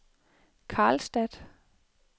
Karlstad